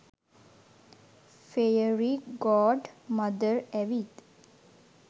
fairy godmother ඇවිත්